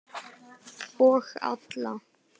Og alla.